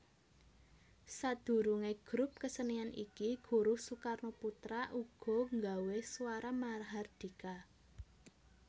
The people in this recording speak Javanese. Sadurunge grup kesenian iki Guruh Soekarnoputra uga nggawe Swara Mahardhika